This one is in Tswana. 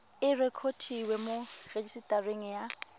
e rekotiwe mo rejisetareng ya